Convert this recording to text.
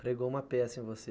Pregou uma peça em você.